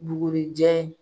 Bugurijɛ.